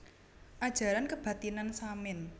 Ajaran Kebathinan Samin